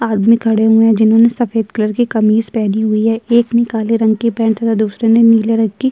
आदमी खड़े हुए हैं जिन्होंने सफेद कलर की कमीज़ पहनी हुई है एक ने काले रंग की पैंट तथा दुसरे ने नीले रंग की --